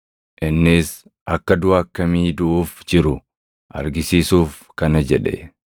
Innis akka duʼa akkamii duʼuuf jiru argisiisuuf kana jedhe.